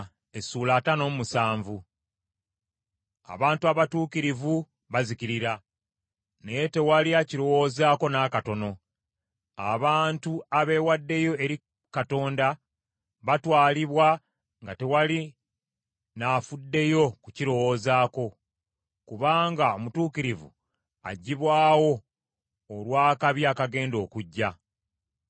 Abantu abatuukirivu bazikirira, naye tewali akirowoozako n’akatono. Abantu abeewaddeyo eri Katonda batwalibwa nga tewali n’afuddeyo kukirowoozaako. Kubanga omutuukirivu aggyibwawo olw’akabi akagenda okujja.